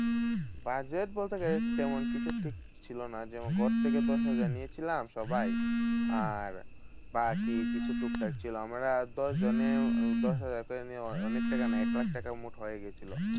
Budget বলতে গেলে, তেমন কিছু ঠিক ছিল না। যেমন ঘর থেকে দশ হাজার নিয়েছিলাম সবাই। আর বাকি কিছু টুকটাক ছিল। আমরা দশজনে দশহাজার করে নিয়ে অনে~ অনেক টাকা এক লাখ টাকা মোট হয়ে গেছিলো।